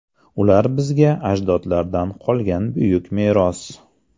Ular bizga ajdodlardan qolgan buyuk meros.